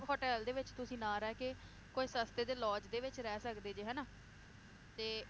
Hotel ਦੇ ਵਿਚ ਤੁਸੀਂ ਨਾ ਰਹਿ ਕੇ ਕੋਈ ਸਸਤੇ ਜਿਹੇ lodge ਦੇ ਵਿਚ ਰਹਿ ਸਕਦੇ ਜੇ ਹਨਾ ਤੇ